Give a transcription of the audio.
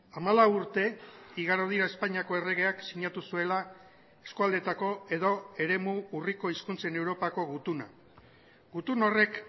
hamalau urte igaro dira espainiako erregeak sinatu zuela eskualdetako edo eremu urriko hizkuntzen europako gutuna gutun horrek